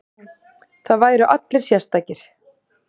Það væru allir sérstakir.